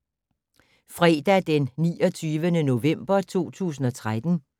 Fredag d. 29. november 2013